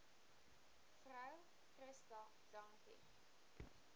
vrou christa dankie